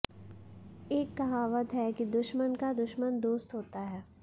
एक कहावत है कि दुश्मन का दुश्मन दोस्त होता है